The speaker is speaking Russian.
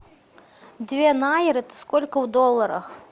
две найры это сколько в долларах